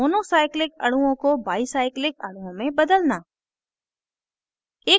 monocyclic अणुओं को बाईcyclic अणुओं में बदलना